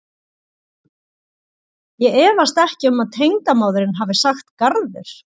Ég efast ekki um að tengdamóðirin hafi sagt garður.